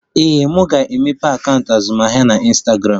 Ee, m ga-emeghe akaụntụ azụmahịa na Ịnstagramụ